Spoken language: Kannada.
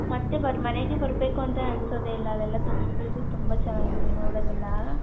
ಮತ್ತೆ ಮನೆಗೆ ಬರಬೇಕು ಅಂತ ಅನ್ಸದೆ ಇಲ್ಲ ಅಲ್ಲೆಲ್ಲ ತುಂಬಾ ಚೆನ್ನಾಗಿದೆ ನೋಡದ್ ಎಲ್ಲಾ .